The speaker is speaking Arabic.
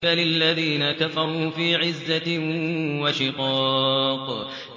بَلِ الَّذِينَ كَفَرُوا فِي عِزَّةٍ وَشِقَاقٍ